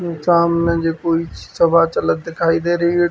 सामाने जे कोई सभा चलत दिखाई दे रही है।